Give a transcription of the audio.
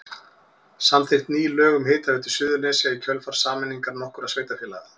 Samþykkt ný lög um Hitaveitu Suðurnesja í kjölfar sameiningar nokkurra sveitarfélaga.